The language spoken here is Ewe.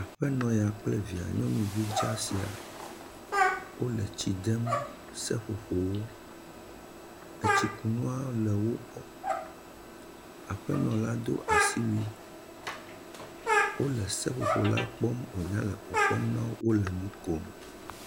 aƒenɔ ya kple via nyɔnuvi dzaa sia wóle tsidem seƒoƒowo etsi kunuawo le wógbɔ aƒenɔ la dó asiwui wóle seƒoƒo la kpɔm wonya le kpɔkpɔm nawo wóle ŋukom